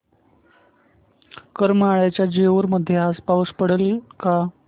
करमाळ्याच्या जेऊर मध्ये आज पाऊस पडेल का